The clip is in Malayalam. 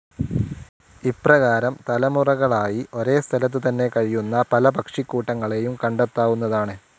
ഇപ്രകാരം തലമുറകളായി ഒരേസ്ഥലത്ത് തന്നെ കഴിയുന്ന പല പക്ഷിക്കൂട്ടങ്ങളേയും കണ്ടെത്താവുന്നതാണ്.